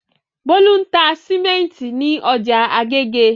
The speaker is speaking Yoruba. Bólú ń ta sìmẹ́ńtì ní ọjà Agége.